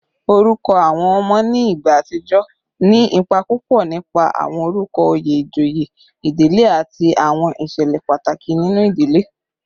Orúkọ àwọn ọmọ ní ìgbà àtijọ́ ní ipa púpọ̀ nípa àwọn orúkọ oyè ìjòyè ìdílé àti àwọn ìṣẹ̀lẹ̀ pàtàkì nínú ìdílé